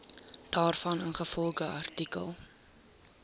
daarvan ingevolge artikel